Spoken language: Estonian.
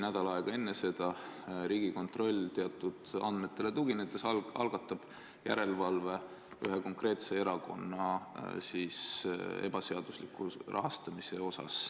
Nädal aega enne seda Riigikontroll algatab teatud andmetele tuginedes järelevalve ühe konkreetse erakonna rahastamise üle.